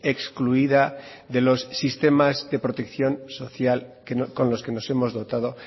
excluida de los sistemas de protección social con los que nos hemos dotado